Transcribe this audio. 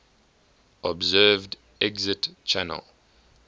observed exit channel